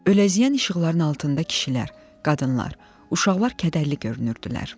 Öləziyən işıqların altında kişilər, qadınlar, uşaqlar kədərli görünürdülər.